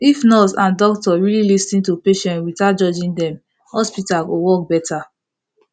if nurse and doctor really lis ten to patient without judging dem hospital go work better